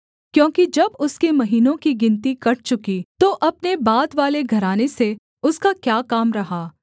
क्योंकि जब उसके महीनों की गिनती कट चुकी तो अपने बादवाले घराने से उसका क्या काम रहा